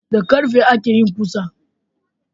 Da karfe akeyin kusa